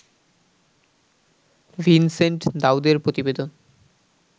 Vincent দাউদের প্রতিবেদন